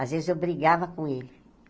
Às vezes, eu brigava com ele.